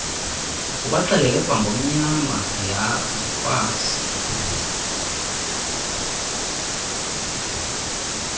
ubaxelele kwangonyama ndikwazi